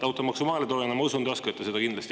Automaksu maaletoojana, ma usun, te oskate seda kindlasti.